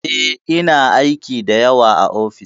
Eh, ina aiki da yawa a ofis.